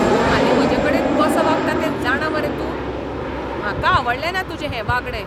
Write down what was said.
तूं हालीं म्हजेकडेन कसो वागता तें जाणा मरे तूं? म्हाका आवडलेंना तुजें हें वागणें.